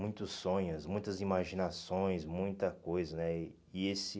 Muitos sonhos, muitas imaginações, muita coisa né e. E esse